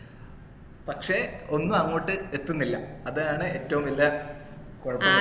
പക്ഷേ ഒന്നും അങ്ങോട്ട് എത്തുന്നില്ല അതാണ് ഏറ്റവും വെല്ല കൊഴപ്പം